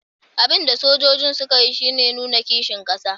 Abin da sojojin suka yi shi ne nuna kishin kasa